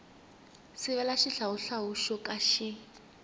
sivela xihlawuhlawu xo ka xi